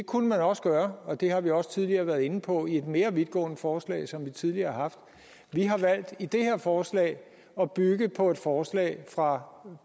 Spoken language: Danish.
kunne man også gøre og det har vi også tidligere været inde på i et mere vidtgående forslag som vi tidligere har haft vi har valgt i det her forslag at bygge på et forslag fra